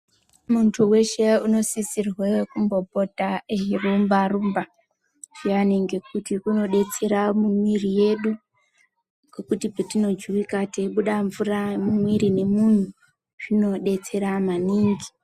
Muntu veshe unosisirwe kumbopota eirumba-rumba zviyani. Ngekuti kunobetsera muviri yedu ngekuti petinojuvika teibuda mvura mumwiri momuntu zvinobetsera maningi.